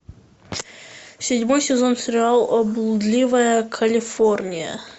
седьмой сезон сериал блудливая калифорния